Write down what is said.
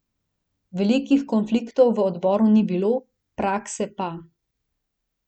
Velikih konfliktov v odboru ni bilo, praske pa.